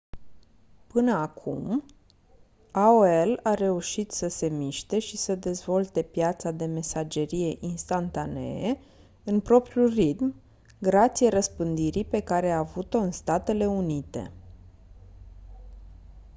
până acum aol a reușit să se miște și să dezvolte piața de mesagerie instantanee în propriul ritm grație răspândirii pe care a avut-o în statele unite